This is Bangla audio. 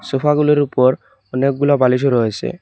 সোফাগুলির উপর অনেকগুলা বালিশ রয়েছে।